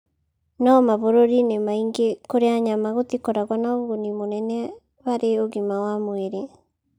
No mabũrũri-inĩ maingĩ kũrĩa nyama gũtikoragwo na ũguni mũnene harĩ ũgima wa mwĩrĩ.